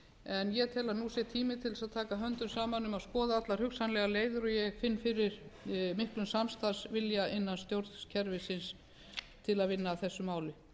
til þess að taka höndum saman um að skoða allar hugsanlegar leiðir og ég finn fyrir miklum samstarfsvilja innan stjórnkerfisins til að vinna að þessu máli